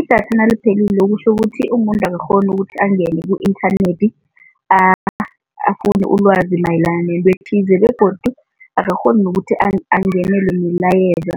Idatha naliphelile kutjho ukuthi umuntu akakghoni ukuthi angene ku-inthanethi ulwazi mayelana nento ethize begodu akakghoni nokuthi angenelelwe milayezo